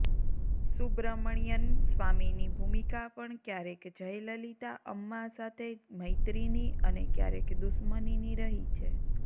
સુબ્રમણ્યન્ સ્વામીની ભૂમિકા પણ ક્યારેક જયલલિતાઅમ્મા સાથે મૈત્રીની અને ક્યારેક દુશ્મનીની રહી છે